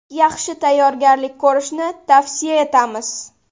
Yaxshi tayyorgarlik ko‘rishni tavsiya etamiz.